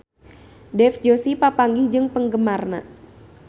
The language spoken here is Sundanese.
Dev Joshi papanggih jeung penggemarna